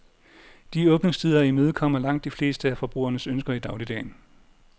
De åbningstider imødekommer langt de fleste af forbrugernes ønsker i dagligdagen.